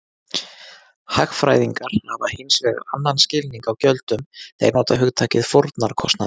Hagfræðingar hafa hins vegar annan skilning á gjöldum, þeir nota hugtakið fórnarkostnaður.